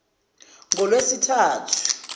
kungolwesithathu